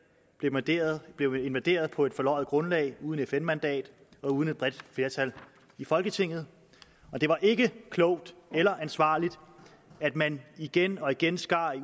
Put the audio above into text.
blev invaderet blev invaderet på et forløjet grundlag uden fn mandat og uden et bredt flertal i folketinget og det var ikke klogt eller ansvarligt at man igen og igen skar i